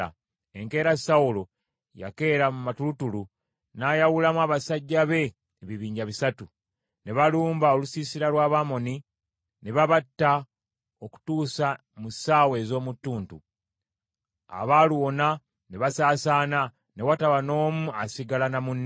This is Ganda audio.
Enkeera Sawulo yakeera mu matulutulu n’ayawulamu abasajja be ebibinja bisatu; ne balumba olusiisira lw’Abamoni ne babatta okutuusa mu ssaawa ez’omu ttuntu. Abaaluwona ne basaasaana, ne wataba n’omu asigala na munne.